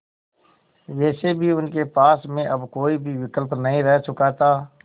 वैसे भी उनके पास में अब कोई भी विकल्प नहीं रह चुका था